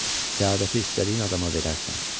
Səadəti istədiyin adama verərsən.